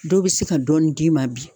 Dɔw be se ka dɔɔnin d'i ma bi